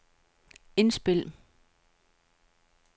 indspil